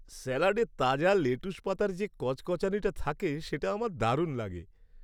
স্যালাডে তাজা লেটুস পাতার যে কচকচানিটা থাকে, সেটা আমার দারুণ লাগে।